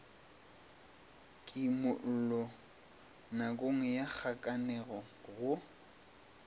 kimollo nakong ya kgakanego go